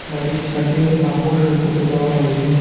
বাড়ির ছাদে কাপড় শুকাতে দেওয়া হয়েছে।